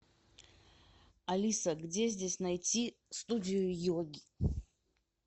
алиса где здесь найти студию йоги